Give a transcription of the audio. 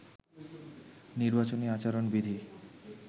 নির্বাচনী আচরণ বিধি